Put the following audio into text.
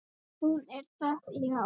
Hún er það, já.